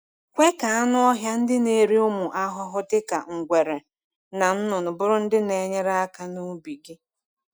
Kwe ka anụ ọhịa ndị na-eri ụmụ ahụhụ dịka ngwere na nnụnụ bụrụ ndị na-enyere aka n’ubi gị.